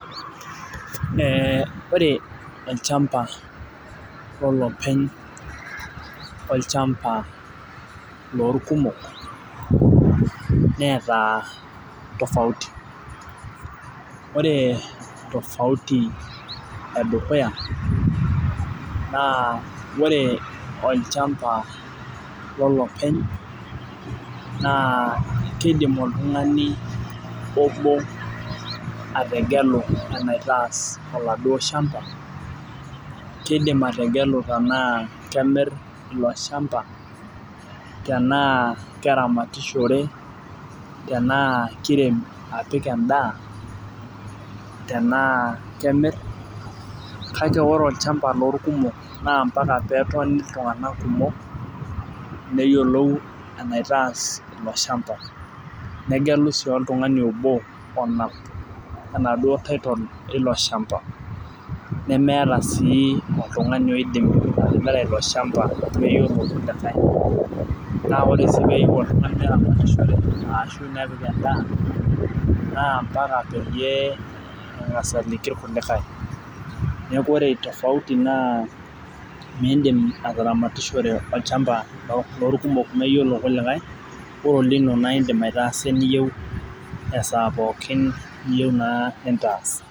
ore olchamba lolopeny olchamba loo ilkumok neeta tofauti, ore tofauti edukuya naa ore olchamba lolopeny naa kidim oltung'ani obo ategelu eni taas oladuo shamba , kidim ategelu tenaa kemir oladuoo shamba, tenaa keramatishore , tenaa kirem apik edaa ,tenaa kemir kake ore olchamba loo ilkumok naa ampaka netoni iltung'anak kumok neyiolou enitaas ilo shamba ,negelu sii oltung'ani obo onap enaaduoo title eilo shamba nemeeta sii oltung'ani oidim atimira meyiolo ilkulikae, naa ore sii peelo neramatishore ashu nepik edaa naa mpaka peyie eng'as aliki ilkulikae neeku ore tofauti naa miidim ataramatishore olchamba loo ilkumok meyiolo ilkulikai ore olino naa idim aitasa eniyieu esaa naa pooki niyieu nintaas.